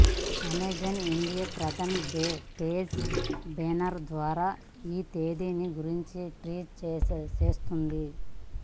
Amazon India ప్రధాన page banner ద్వారా ఈ తేదీని గురించి టీజ్ చేస్తోంది